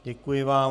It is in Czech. Děkuji vám.